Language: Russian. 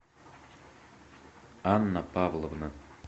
анна павловна